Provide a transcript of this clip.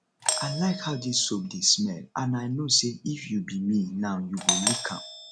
i like how dis soap dey smell and i no say if you be me now you go lick am